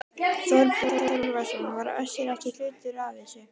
Þorbjörn Þórðarson: Var Össur ekki hluti af þessu?